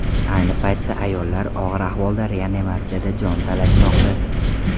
Ayni paytda ayollar og‘ir ahvolda reanimatsiyada jon talashmoqda.